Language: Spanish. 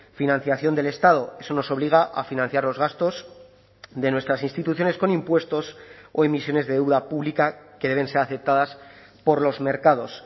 financiación del estado eso nos obliga a financiar los gastos de nuestras instituciones con impuestos o emisiones de deuda pública que deben ser aceptadas por los mercados